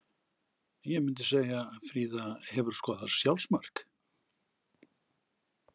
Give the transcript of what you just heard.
Ég myndi segja Fríða Hefurðu skorað sjálfsmark?